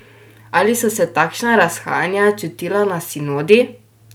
Ali so se takšna razhajanja čutila na sinodi?